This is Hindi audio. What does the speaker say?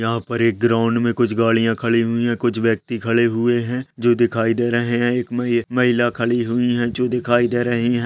यहाँ पर एक ग्राउंड में कुछ गाड़ियां खड़ी हुईं हैं कुछ व्यक्ति खड़े हुए हैं जो दिखाई दे रहें हैं एक महि ए महिला खड़ी हुई हैं जो दिखाई दे रहीं हैं।